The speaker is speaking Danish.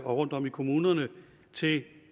og rundtom i kommunerne til